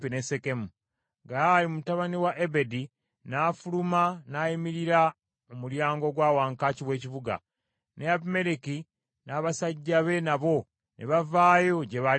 Gaali mutabani wa Ebedi n’afuluma n’ayimirira mu mulyango gwa wankaaki w’ekibuga, ne Abimereki n’abasajja be nabo ne bavaayo gye baali beekwese.